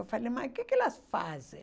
Eu falei, mas o que que elas fazem?